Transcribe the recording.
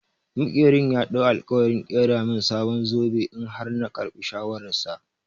Maƙerin ya ɗau alƙawarin ƙera min sabon zobe in har na karɓi shawarar sa.